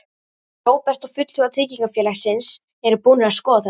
Róbert: Og fulltrúar tryggingafélagsins eru búnir að skoða þetta?